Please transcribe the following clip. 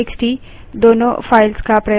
terminal पर जाएँ